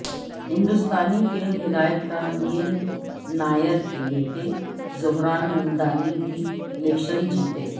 ہندوستانی فلم ہدایت کار میر نائر کے بیٹے زہران ممدانی بھی الیکشن جیتے